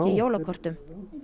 jólakortum